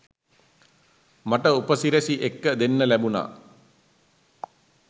මට උපසිරැසි එක්ක දෙන්න ලැබුනා.